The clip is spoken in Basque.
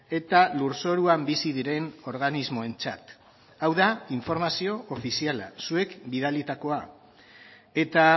eta lurzoruan bizi diren organismoentzat hau da informazio ofiziala zuek bidalitakoa eta